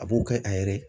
A b'o kɛ a yɛrɛ ye